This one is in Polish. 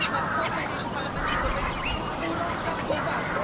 To, co dzieje się w Parlamencie Europejskim, urąga powadze.